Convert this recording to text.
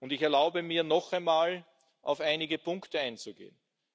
Ich erlaube mir, noch einmal auf einige Punkte einzugehen.